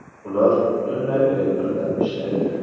Ular butunlay elektrda ishlaydi.